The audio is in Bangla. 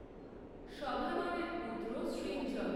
সভানরের পুত্র সৃঞ্জয়